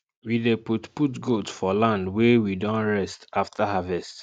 we dey put put goat for land wey we don rest after harvest